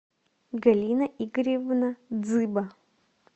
галина игоревна дзыба